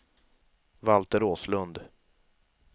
Valter Åslund